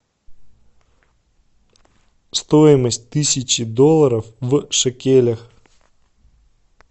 стоимость тысячи долларов в шекелях